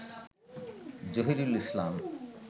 Zahirul Islam